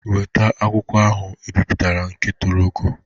Weta akwụkwọ ahụ ebiputara nke toro ogo!